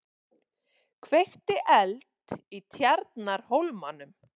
Kveikti eld í Tjarnarhólmanum